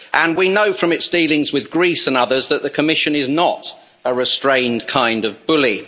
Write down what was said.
We know from its dealings with Greece and others that the Commission is not a restrained kind of bully.